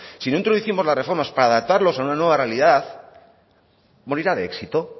si no introducimos las reformas para adaptarlos a una nueva realidad morirá de éxito